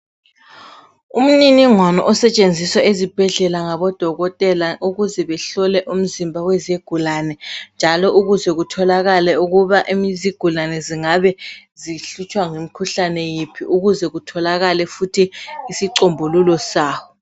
Umniningwane osetshenjiswa ezibhedlela ngabodokotela ukuze behlole umzimba wezigulane njalo ukuze kutholakale ukuba izigulane zingabe zihlutshwa ngumkhuhlane yiphi ukuze kutholakale futhi isicombululo sawo.